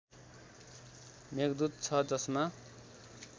मेघदूत छ जसमा